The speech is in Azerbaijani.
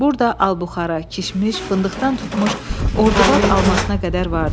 Burda albuxara, kişmiş, fındıqdan tutmuş Ordubad almasına qədər vardı.